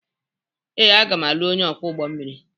Ee, aga m alụ onye ọkwọ ụgbọ mmiri.